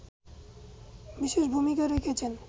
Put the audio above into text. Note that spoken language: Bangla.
বিশেষ ভূমিকা রেখেছেন